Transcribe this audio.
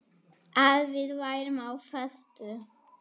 Að við værum á föstu.